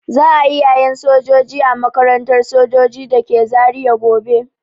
Za'a yi yayen sojoji a makarantar sojoji dake Zaria gobe.